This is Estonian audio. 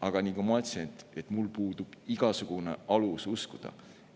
Aga nagu ma ütlesin, mul puudub igasugune alus uskuda,